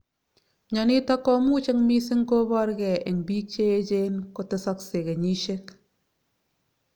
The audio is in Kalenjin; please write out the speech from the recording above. Myonitok komuch eng missing kobor gee eng bik che echen kotesakse kenyisiek.